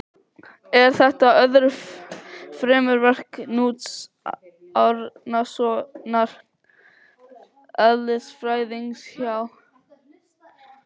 Er þetta öðru fremur verk Knúts Árnasonar eðlisfræðings hjá